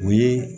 U ye